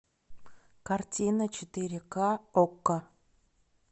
картина четыре ка окко